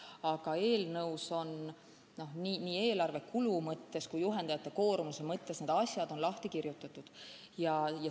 Aga eelnõus on nii eelarve kulu mõttes kui juhendajate koormuse mõttes need asjad lahti kirjutatud.